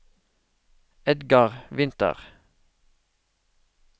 Edgar Winther